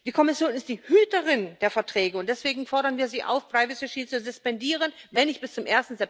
Die Kommission ist die Hüterin der Verträge, und deswegen fordern wir sie auf, das Privacy Shield zu suspendieren, wenn nicht bis zum